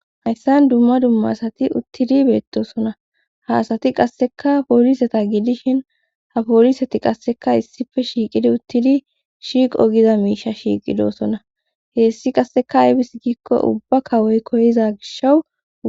hayssan dumma dumma asati uttidi beettosona haasati qasseka pooliseta gidishin ha pooliseti qasseka issife shiiqidi uttidi shiiqo giza miisha shiiqidosona heessi qasseka aybis giikko ubba kawoy koyiza gishawu